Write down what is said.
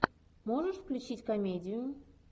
можешь включить комедию